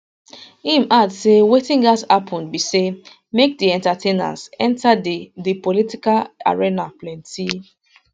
im add say wetin gatz happun be say make di entertainers enta di di political arena plenty